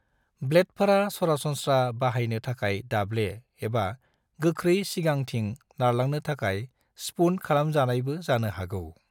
ब्लेडफोरा सरासनस्रा बाहायनो थाखाय दाब्ले एबा गोख्रै सिगांथिं नारलांनो थाखाय स्पून्ड खालामजानायबो जानो हागौ।